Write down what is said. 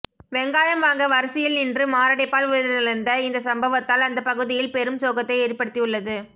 வெங்காயம் வாங்க வரிசையில் நின்று மாரடைப்பால் உயிரிழந்த இந்த சம்பவத்தால் அந்த பகுதியில் பெரும் சோகத்தை ஏற்படுத்தி உள்ளது